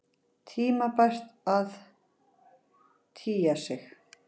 Tímabært að tygja sig.